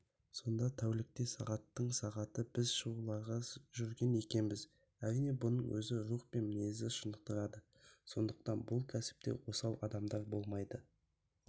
сонда тәулікте сағаттың сағаты біз шығуларда жүрген екенбіз әрине бұның өзі рух пен мінезді шынықтырады сондықтан бұл кәсіпте осал адамдар болмайды